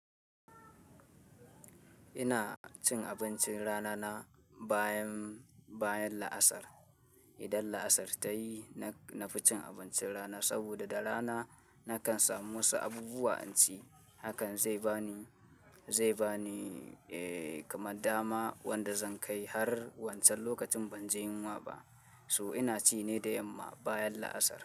Ina cin abincin rana na bayan, bayan la'asar. Idan la'asar ta yi na fi cin abincin rana saboda da rana nakan samu wasu abubuwa in ci. Hakan zai bani, zai bani eh kaman dama wanda zan kai har wancan lokacin ban ji yunwa ba. So ina ci ne da yamma bayan la'asar.